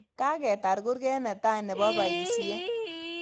Kagetar kurget netai nebo paisyet.